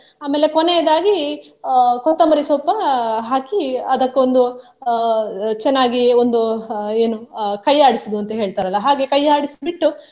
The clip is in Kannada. ಆಮೇಲೆ ಕೊನೆಯದಾಗಿ ಅಹ್ ಕೊತ್ತಂಬರಿಸೊಪ್ಪು ಅಹ್ ಹಾಕಿ ಅದಕ್ಕೊಂದು ಅಹ್ ಚೆನ್ನಾಗಿ ಒಂದು ಏನೂ ಅಹ್ ಕೈ ಆಡಿಸುವುದು ಅಂತ ಹೇಳ್ತಾರಲ್ಲ ಹಾಗೆ ಕೈ ಆಡಿಸಿಬಿಟ್ಟು.